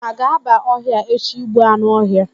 Unu aga-aba ọhịa echi ịgbu anụ ọhịa?